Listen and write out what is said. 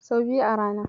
Sau biyu a rana.